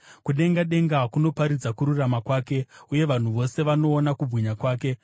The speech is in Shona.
Kudenga denga kunoparidza kururama kwake, uye vanhu vose vanoona kubwinya kwake.